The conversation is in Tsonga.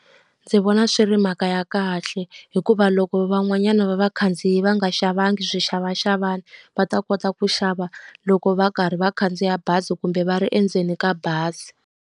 Ndzi vona swi ri mhaka ya kahle hikuva loko van'wanyana va vakhandziyi va nga xavanga swixavaxavani, va ta kota ku xava loko va karhi va khandziya bazi kumbe va ri endzeni ka bazi.